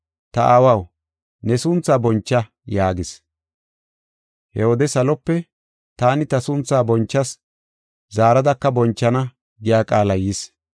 Ta Aawaw, ne sunthaa boncha” yaagis. He wode salope, “Taani ta sunthaa bonchas; zaaradaka bonchana” giya qaalay yis.